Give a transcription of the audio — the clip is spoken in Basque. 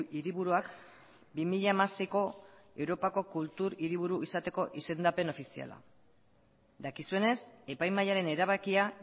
hiriburuak bi mila hamaseiko europako kultur hiriburu izateko izendapen ofiziala dakizuenez epaimahaiaren erabakia